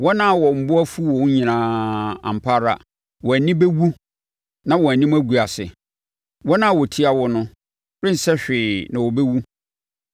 “Wɔn a wɔn bo afu wo no nyinaa, ampa ara wɔn ani bɛwu na wɔn anim agu ase; wɔn a wɔtia wo no rensɛ hwee na wɔbɛwu.